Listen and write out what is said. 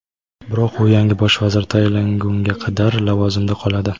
Biroq u yangi Bosh vazir tayinlangunga qadar lavozimida qoladi.